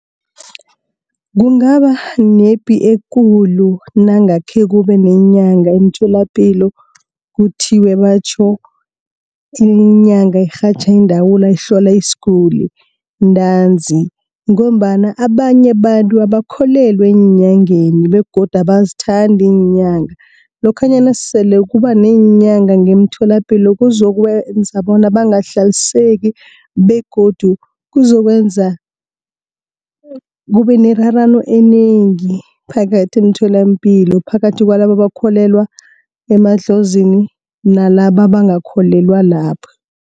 Kungaba nepi ekulu nangakhe kube neenyanga emtholapilo, kuthiwe batjho inyanga irhatjha iindawula ihlola isiguli ntanzi, ngombana abanye abantu abakholelwa eenyangeni begodu abazithandi iinyanga. Lokhanyana sele kuba neenyanga eemtholapilo kuzokwenza bona bangahlaliseki, begodu kuzokwenza kube nerarano enengi phakathi emtholapilo. Phakathi kwalabo abakholelwa emadlozini nalaba abangakholelwa lapho.